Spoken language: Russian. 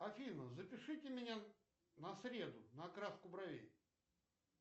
афина запишите меня на среду на окраску бровей